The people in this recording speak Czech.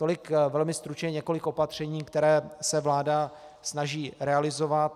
Tolik velmi stručně několik opatření, které se vláda snaží realizovat.